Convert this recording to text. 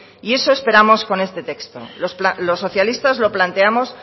y eso esperamos con este texto los socialistas lo planteamos